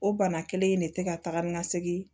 O bana kelen in de tɛ ka taga ni ka segin